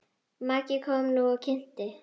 Maggi kom nú og kynnti.